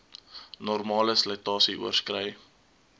normale slytasie oorskrei